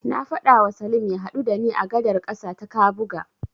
Na faɗawa Salim ya haɗu da ni a gadar ƙasa ta Kabuga.